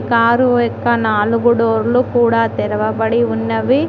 Car నాలుగు డోర్లు కూడా తెరవబడి ఉన్నవి.